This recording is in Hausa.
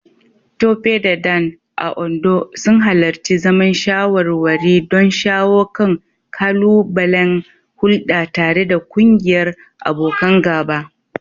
Tope da Dan, a Ondo, sun halarci zaman shawarwari don shawo kan ƙalubalen hulɗa tare da ƙungiyar abokan gaba.